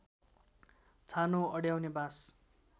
छानो अड्याउने बाँस